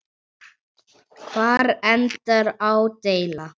Hvar endar ádeila?